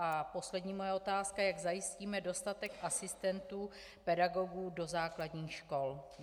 A poslední moje otázka - jak zajistíme dostatek asistentů pedagogů do základních škol?